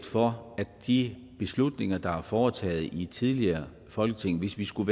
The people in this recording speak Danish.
for de beslutninger der er foretaget i et tidligere folketing hvis vi skulle